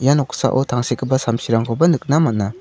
ia noksao tangsekgipa samsirangkoba nikna man·a.